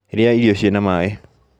Rĩa irio ciĩna maĩ